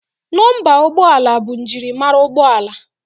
Nọmba ụgbọala bụ maka njirimara ụgbọala